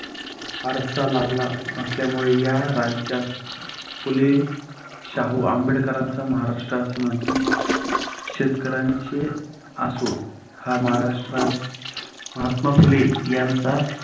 वारसा लाभला असल्यामुळे या राज्यास फुले-शाहू-आंबेडकरांचा महाराष्ट्र असे म्हणतात. शेतकऱ्यांचे आसूड हा महाराष्ट्रा महात्मा फुले यांचा